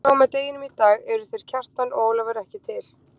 Frá og með deginum í dag eru þeir Kjartan og Ólafur ekki til.